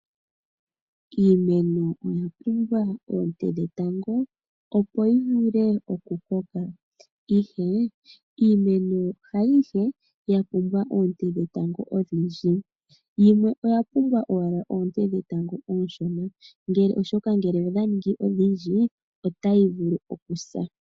Iimeno oya pumbwa oonte dhetango opo yi vule oku koka ihe iimeno haayihe ya pumbwa oonte dhetango odhindji. Yimwe oya pumbwa owala oonte dhetango ooshona, oshoka ngele odha ningi odhindji otayi vulu okusa.